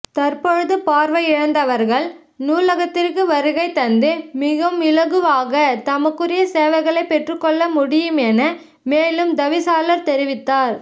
தற்பொழுது பார்வையிழந்தவர்கள் நூலகத்திற்கு வருகைதந்து மிகவும் இலகுவாக தமக்குரிய சேவைகளை பெற்றுக்கொள்ளமுடியும் என மேலும் தவிசாளர் தெரிவித்தார்